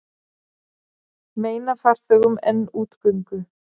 Meina farþegum enn útgöngu